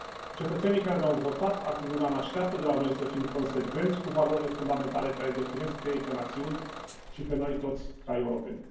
Cetățenii care ne au votat acum un an așteaptă de la noi să fim consecvenți cu valorile fundamentale care îi definesc pe ei ca națiuni și pe noi toți ca europeni.